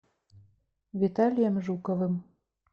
виталием жуковым